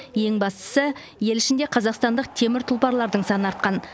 ең бастысы ел ішінде қазақстандық темір тұлпарлардың саны артқан